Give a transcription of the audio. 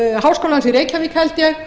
háskólans í reykjavík held ég